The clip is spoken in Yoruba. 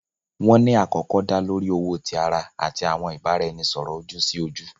Wọn ni akọkọ da lori owo ti ara ati awọn ibaraẹnisọrọ oju-si-oju.